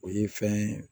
O ye fɛn ye